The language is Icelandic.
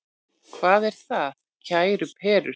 Hvað er það, kæru perur?